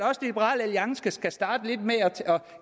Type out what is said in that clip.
liberal alliance skal starte med at